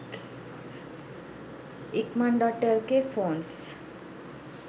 ikman.lk phones